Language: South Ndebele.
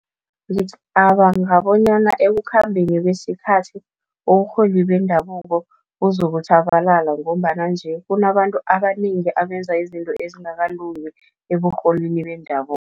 Ngicabanga bonyana ekukhambeni kwesikhathi, uburholi bendabuko buzokutjhabalala, ngombana nje kunabantu abanengi abenza izinto ezingakalungi eburholini bendabuko.